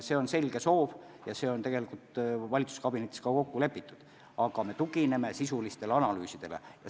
See on selge soov ja see on tegelikult valitsuskabinetis ka kokku lepitud, aga me tugineme sisulistele analüüsidele.